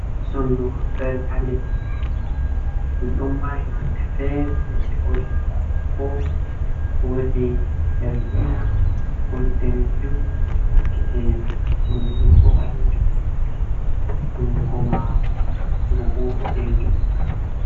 Sonɗuru ɗo dari ha leɗɗi. Ɗuɗum mari ɗon mari nonɗɗe fere fere. Woɗi bokko bokko, woɗi jargina, woɗi nɗanejum. gite sonɗuru bo balejum. Hunɗuko maru bo boɗejum.